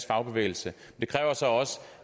fagbevægelse det kræver så også